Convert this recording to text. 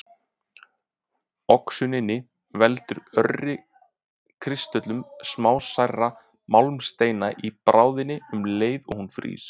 Oxunin veldur örri kristöllun smásærra málmsteinda í bráðinni um leið og hún frýs.